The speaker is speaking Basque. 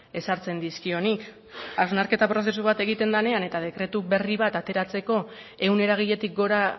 ezartzen dizkionik hausnarketa prozesu bat egiten denean eta dekretu berri bat ateratzeko ehun eragiletik gora